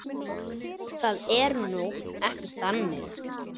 Það er nú ekki þannig.